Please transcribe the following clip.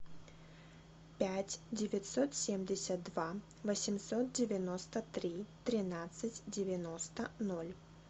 пять девятьсот семьдесят два восемьсот девяносто три тринадцать девяносто ноль